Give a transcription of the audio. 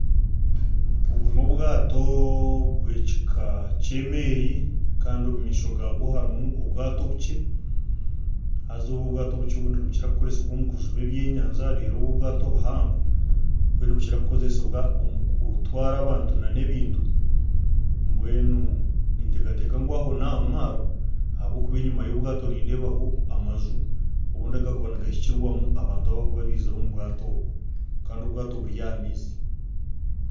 Obu n'obwato bw'ekika ky'emeeri kandi omu maisho gaabwo harimu obwato obukye, haza obu obwato obukye nibukire kukoresibwa omu kujuba ebyenyanja reero obu obwato obuhango bwo nibukira kukoresibwa omu kutwara abantu hamwe n'ebintu mbwenu ninteekateeka ngu aho n'aha mwaro ahabw'okuba enyima y'obwato nindeebaho amaju obundi agakuba nigahikirwamu abantu abarikuba nibaizire omu bwato obu kandi obwato buri aha maizi